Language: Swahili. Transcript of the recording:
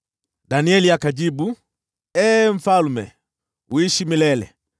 Danieli akajibu, “Ee mfalme, uishi milele!